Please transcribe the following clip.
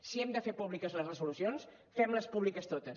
si hem de fer públiques les resolucions fem les públiques totes